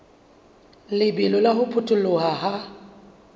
lebelo la ho potoloha ha